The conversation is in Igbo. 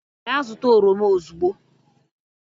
gaa zụta oroma ozugbo!